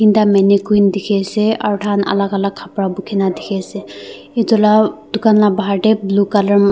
da mannequin dikhi ase aru taikhan alak alak kapra bukhina dikhi ase etu laa dukan la bahar te blue colour .